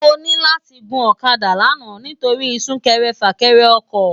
Mò ni làti gún òkàdá làná nitóri súkèrè fâkèrè òkò